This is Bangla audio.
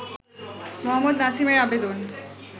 মোহাম্মদ নাসিমের আবেদন